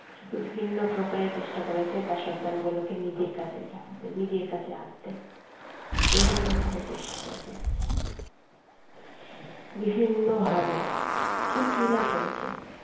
বিভিন্ন প্রকারে চেষ্টা করেছে তার সন্তান গুলকে নিজের কাছে রাখতে নিজের কাছে আনতে বিভিন্নভাবে চেষ্টা করেছে বিভিন্নভাবে কি কিনা করেছে,